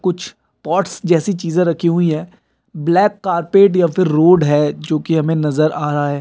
कुछ पॉट्स जैसी चीज़े राखी हुई हैं। ब्लैक कारपेट या फिर रोड हैं जोके हमें नजर आ रहा हैं।